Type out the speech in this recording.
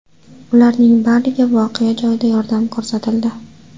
Ularning bariga voqea joyida yordam ko‘rsatildi.